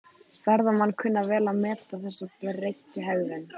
Ferðamenn kunna vel að meta þessa breyttu hegðun.